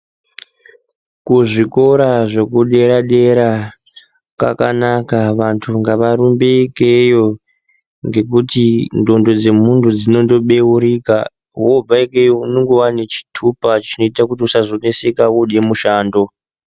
Ku zvikora zveku dera dera kwakanaka vantu ngava rumbe ikeyo ngekuti ndxondo dze muntu dzinondo beurika wobva ikweyo unenge wane chitupa chinoita kuti usazo nesaka wode mushando.